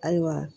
Ayiwa